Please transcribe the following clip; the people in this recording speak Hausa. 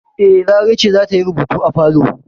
E, Larai ce za ta yi rubutu a falo.